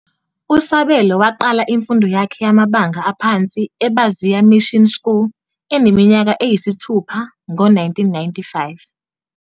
USabelo waqala imfundo yakhe yamabanga aphansi eBaziya Mission School eneminyaka eyisithupha ngo-1955.